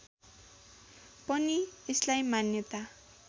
पनि यसलाई मान्यता